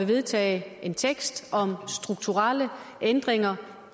vedtagelse om strukturelle ændringer